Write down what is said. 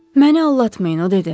Məni aldatmayın o dedi.